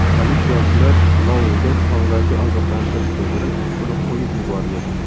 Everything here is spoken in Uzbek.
Politsiyachilar Louga og‘zaki ogohlantirish bildirib, uni qo‘yib yuborgan.